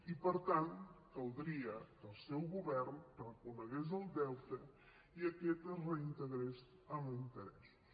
i per tant caldria que el seu govern reconegués el deute i aquest es reintegrés amb interessos